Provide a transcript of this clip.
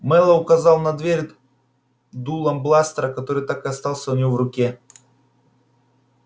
мэллоу указал на дверь дулом бластера который так и остался у него в руке